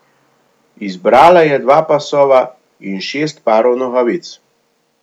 Izbrala je dva pasova in šest parov nogavic.